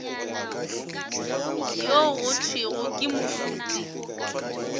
yo go thwego ke moruti